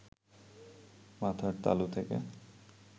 মাথার তালু থেকে